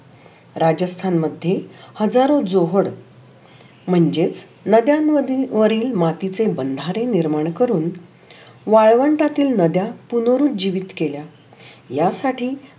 राजस्थान मधे हजारो जोहोर म्हणजे नद्यामधील वरील मातीचे बंधारे निर्माण करूण वाळवंटातील नद्या पुनरु जीवीत केल्या या साठी